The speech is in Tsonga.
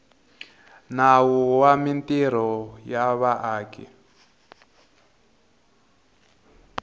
nawu wa mintirho ya vaaki